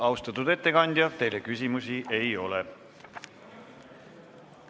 Austatud ettekandja, teile küsimusi ei ole.